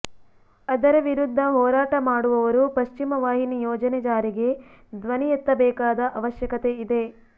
ಅದರ ವಿರುದ್ದ ಹೋರಾಟ ಮಾಡುವವರು ಪಶ್ಚಿಮವಾಹಿನಿ ಯೋಜನೆ ಜಾರಿಗೆ ಧ್ವನಿಯೆತ್ತಬೇಕಾದ ಅವಶ್ಯಕತೆಯಿದೆ